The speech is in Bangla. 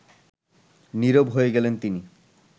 নীরব হয়ে গেলেন তিনি